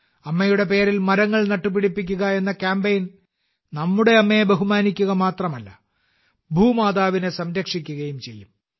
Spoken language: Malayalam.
അമ്മയുടെ പേരിൽ മരങ്ങൾ നട്ടുപിടിപ്പിക്കുക എന്ന കാമ്പയിൻ നമ്മുടെ അമ്മയെ ബഹുമാനിക്കുക മാത്രമല്ല ഭൂമാതാവിനെ സംരക്ഷിക്കുകയും ചെയ്യും